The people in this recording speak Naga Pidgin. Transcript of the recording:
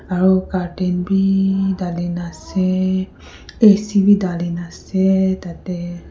aro curtain bi dali na ase ac bi dali na ase tatey.